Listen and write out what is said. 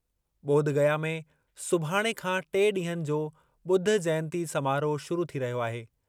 ॿोधगया में सुभाणे खां टे ॾींहनि जो ॿुध जयंती समारोह शुरू थी रहियो आहे।